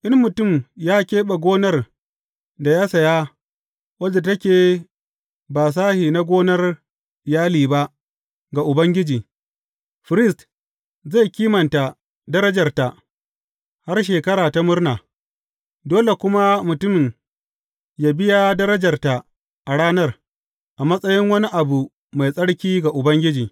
In mutum ya keɓe gonar da ya saya, wadda take ba sashe na gonar iyali ba, ga Ubangiji, firist zai kimanta darajarta har Shekara ta Murna, dole kuma mutumin yă biya darajarta a ranar, a matsayin wani abu mai tsarki ga Ubangiji.